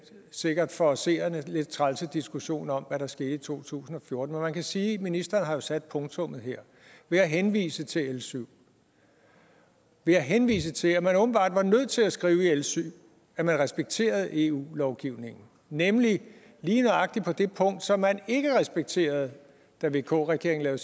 sikkert for seerne lidt trælse diskussion om hvad der skete i to tusind og fjorten men man kan sige at ministeren jo har sat punktummet her ved at henvise til l syv ved at henvise til at man åbenbart var nødt til at skrive i l syv at man respekterede eu lovgivningen nemlig lige nøjagtig på det punkt som man ikke respekterede da vk regeringen